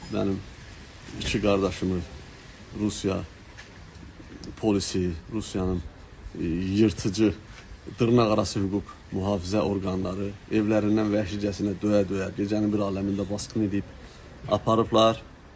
Mənim iki qardaşımın Rusiya polisi, Rusiyanın yırtıcı dırnaqarası hüquq mühafizə orqanları evlərindən vəhşicəsinə döyə-döyə gecənin bir aləmində basqın edib aparıblar.